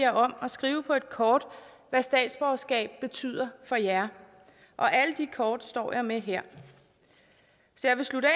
om at skrive på et kort hvad statsborgerskab betyder for jer og alle de kort står jeg med her så jeg vil slutte af